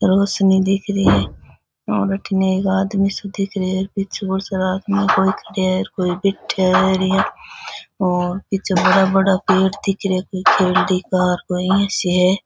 रोशनी दिख री है और अठीने एक आदमी सो दिख रे है पीछे बहोत सारा आदमी कोई खड़या है कोई बैठया है और पीछे बड़ा बड़ा पेड़ दिख रेहा है कोई खेलड़ी का कोई इया सी है।